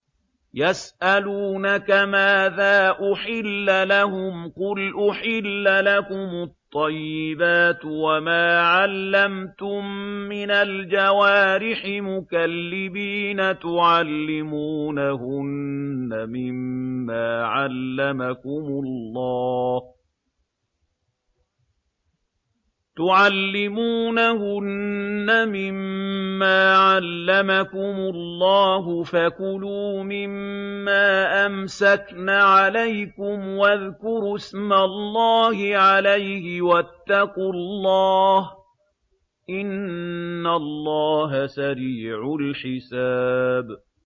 يَسْأَلُونَكَ مَاذَا أُحِلَّ لَهُمْ ۖ قُلْ أُحِلَّ لَكُمُ الطَّيِّبَاتُ ۙ وَمَا عَلَّمْتُم مِّنَ الْجَوَارِحِ مُكَلِّبِينَ تُعَلِّمُونَهُنَّ مِمَّا عَلَّمَكُمُ اللَّهُ ۖ فَكُلُوا مِمَّا أَمْسَكْنَ عَلَيْكُمْ وَاذْكُرُوا اسْمَ اللَّهِ عَلَيْهِ ۖ وَاتَّقُوا اللَّهَ ۚ إِنَّ اللَّهَ سَرِيعُ الْحِسَابِ